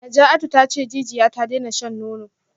Najatu tace jijiya ta daina shan nono